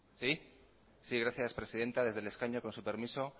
gracias presidenta desde el escaño con su permiso